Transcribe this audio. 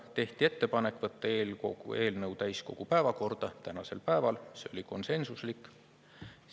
Tehti ettepanek võtta eelnõu täiskogu päevakorda tänasel päeval, see oli konsensuslik otsus.